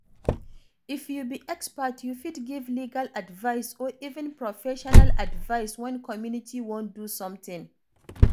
If you be expert, you fit give legal advise or even professional advice when community wan do something